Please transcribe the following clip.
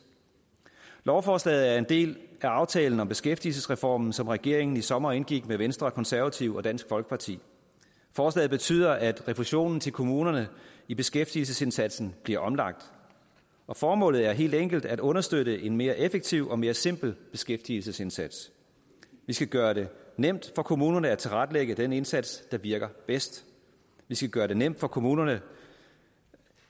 lovforslaget er en del af aftalen om beskæftigelsesreformen som regeringen i sommer indgik med venstre konservative og dansk folkeparti forslaget betyder at refusionen til kommunerne i beskæftigelsesindsatsen bliver omlagt formålet er helt enkelt at understøtte en mere effektiv og mere simpel beskæftigelsesindsats vi skal gøre det nemt for kommunerne at tilrettelægge den indsats der virker bedst vi skal gøre det nemt for kommunerne